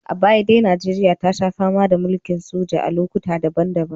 A baya dai Najeriya ta sha fama da mulkin soja a lokuta daban-daban